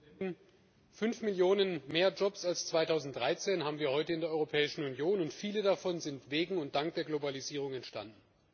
Frau Präsidentin! Fünf Millionen mehr Jobs als 2013 haben wir heute in der Europäischen Union, und viele davon sind wegen und dank der Globalisierung entstanden.